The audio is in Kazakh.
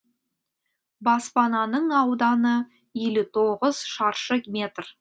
баспананың ауданы елу тоғыз шаршы метр